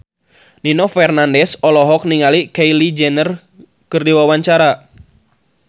Nino Fernandez olohok ningali Kylie Jenner keur diwawancara